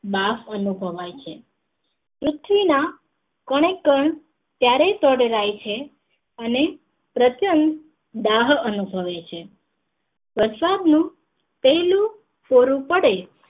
બાફ અનુભવાય છે પૃથ્વી ના કણે કણ ત્યારે તડલાય છે અને પ્રત્યંક દાહ અનુભવે છે પ્રસાદ નું પહેલું સ્વરૂપ પડે